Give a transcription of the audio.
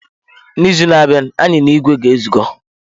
N'izu na-abịa, anyị na ìgwè ga-ezuko.